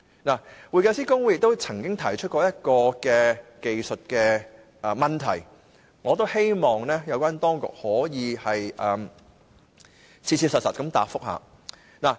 會計師公會曾提出一項技術問題，我希望有關當局可以切實回答。